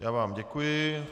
Já vám děkuji.